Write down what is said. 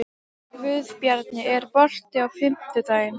Guðbjarni, er bolti á fimmtudaginn?